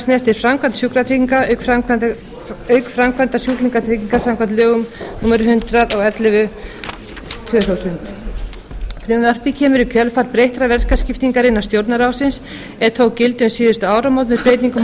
snertir framkvæmd sjúkratrygginga auk framkvæmdar sjúklingatryggingar samkvæmt lögum númer hundrað og ellefu tvö þúsund frumvarpið kemur í kjölfar breyttrar verkaskiptingar innan stjórnarráðsins er tók gildi um síðustu áramót með breytingum á lögum